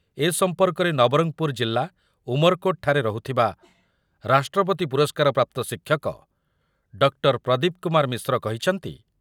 ଏ ସମ୍ପର୍କରେ ନବରଙ୍ଗପୁର ଜିଲ୍ଲା ଉମରକୋଟ୍‌ଠାରେ ରହୁଥିବା ରାଷ୍ଟ୍ରପତି ପୁରସ୍କାର ପ୍ରାପ୍ତ ଶିକ୍ଷକ ଡକ୍ଟର ପ୍ରଦୀପ କୁମାର ମିଶ୍ର କହିଛନ୍ତି